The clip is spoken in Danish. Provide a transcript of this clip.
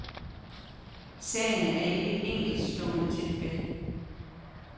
Sagen er ikke et enkeltstående tilfælde.